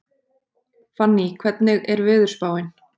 Fanný, hvernig er veðurspáin?